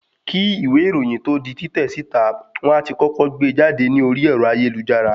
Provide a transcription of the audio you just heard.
Kín ìwé ìròyìn tó di títẹ̀ síta, wón á ti kọ́kọ́ gbe jáde ní orí ẹ̀rọ ayélujára.